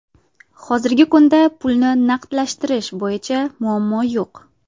Hozirgi kunda pulni naqdlashtirish bo‘yicha muammo yo‘q.